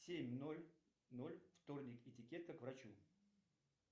семь ноль ноль вторник этикета к врачу